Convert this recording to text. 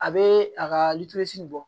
A bɛ a ka bɔ